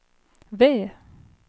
V